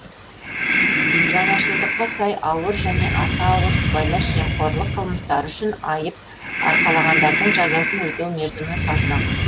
жаңашылдыққа сай ауыр және аса ауыр сыбайлас жемқорлық қылмыстары үшін айып арқалағандардың жазасын өтеу мерзімі ұзармақ